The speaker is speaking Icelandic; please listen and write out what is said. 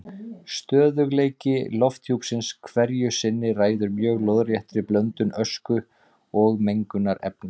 Stöðugleiki lofthjúpsins hverju sinni ræður mjög lóðréttri blöndun ösku og mengunarefna.